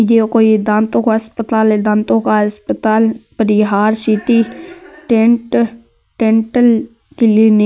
ये कोई दांतों का अस्पताल है दांतों का अस्पताल Parihar city dent dental clinic.